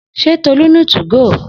Se Tolu ni 2go?